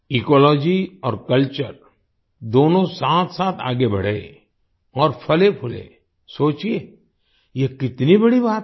ecology और culture दोनों साथसाथ आगे बढें और फलेंफूलें सोचिएयह कितनी बड़ी बात है